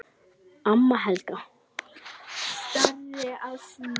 Amma Helga.